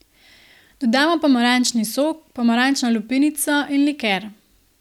Dodamo pomarančni sok, pomarančno lupinico in liker.